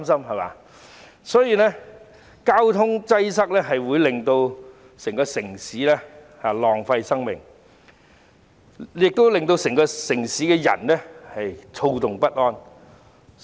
因此，交通擠塞會令整個城市的人浪費時間和生命，亦會令到整個城市的人躁動不安。